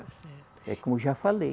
Está certo. É como eu já falei.